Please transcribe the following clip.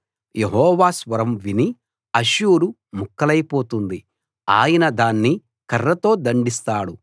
యెహోవా స్వరం విని అష్షూరు ముక్కలైపోతుంది ఆయన దాన్ని కర్రతో దండిస్తాడు